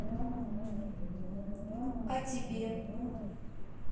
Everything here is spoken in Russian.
а тебе